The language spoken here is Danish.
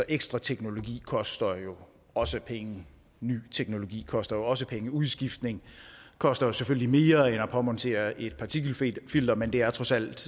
ekstra teknologi koster jo også penge ny teknologi koster også penge udskiftning koster selvfølgelig mere end at påmontere et partikelfilter men det er trods alt